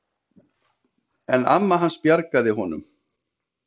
En amma hans bjargaði honum.